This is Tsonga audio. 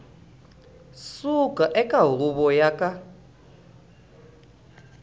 suka eka huvo yo ka